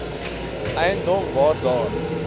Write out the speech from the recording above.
eiendom waar daar